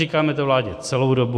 Říkáme to vládě celou dobu.